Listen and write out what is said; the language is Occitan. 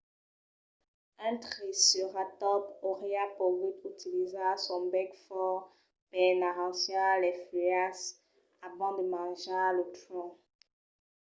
un triceratòps auriá pogut utilizar son bèc fòrt per n'arrancar las fuèlhas abans de manjar lo tronc